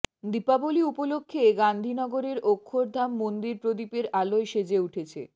দীপাবলী উপলক্ষে গান্ধীনগরের অক্ষরধাম মন্দির প্রদীপের আলোয় সেজে উঠেছে